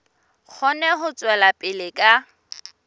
kgone ho tswela pele ka